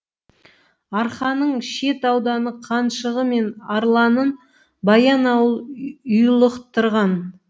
арқаның шет ауданы қаншығы мен арланын баянауыл ұйлықтырған